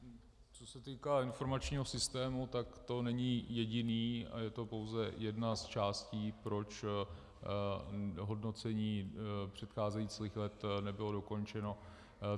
Co se týká informačního systému, tak to není jediný a je to pouze jedna z částí, proč hodnocení předcházejících let nebylo dokončeno.